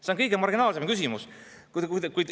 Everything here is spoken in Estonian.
See on kõige marginaalsem küsimus!